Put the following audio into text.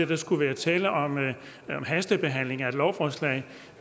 der skulle være tale om en hastebehandling af et lovforslag